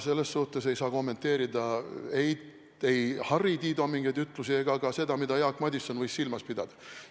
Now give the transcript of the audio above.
Selles mõttes ei saa ma kommenteerida ei Harri Tiido mingeid ütlusi ega ka seda, mida Jaak Madison võis silmas pidada.